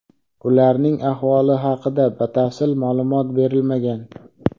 Ularning ahvoli haqida batafsil ma’lumot berilmagan.